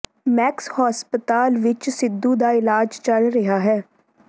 Max ਹਸਪਤਾਲ ਵਿਚ ਸਿੱਧੂ ਦਾ ਇਲਾਜ ਚੱਲ ਰਿਹਾ ਹੈ